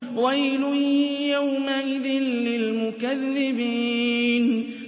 وَيْلٌ يَوْمَئِذٍ لِّلْمُكَذِّبِينَ